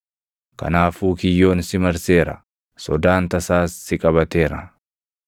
Kanaafuu kiyyoon si marseera; sodaan tasaas si qabateera.